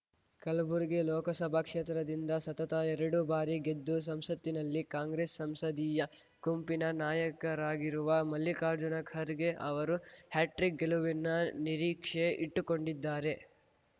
ಕಲಬುರಗಿ ಲೋಕಸಭಾ ಕ್ಷೇತ್ರದಿಂದ ಸತತ ಎರಡು ಬಾರಿ ಗೆದ್ದು ಸಂಸತ್ತಿನಲ್ಲಿ ಕಾಂಗ್ರೆಸ್‌ ಸಂಸದೀಯ ಗುಂಪಿನ ನಾಯಕರಾಗಿರುವ ಮಲ್ಲಿಕಾರ್ಜುನ ಖರ್ಗೆ ಅವರು ಹ್ಯಾಟ್ರಿಕ್‌ ಗೆಲುವಿನ ನಿರೀಕ್ಷೆ ಇಟ್ಟುಕೊಂಡಿದ್ದಾರೆ